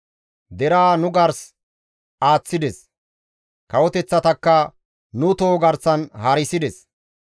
Deraa nu gars aaththides; kawoteththatakka nu toho garsan haarisides.